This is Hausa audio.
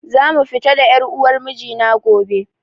Za mu fita da ƴar uwar miji na gobe